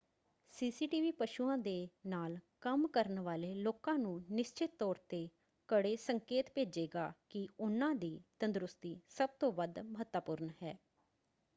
"CCTV ਪਸ਼ੂਆਂ ਦੇ ਨਾਲ ਕੰਮ ਕਰਨ ਵਾਲੇ ਲੋਕਾਂ ਨੂੰ ਨਿਸ਼ਚਤ ਤੌਰ 'ਤੇ ਕੜੇ ਸੰਕੇਤ ਭੇਜੇਗਾ ਕਿ ਉਨ੍ਹਾਂ ਦੀ ਤੰਦਰੁਸਤੀ ਸਭ ਤੋਂ ਵੱਧ ਮਹੱਤਵਪੂਰਣ ਹੈ।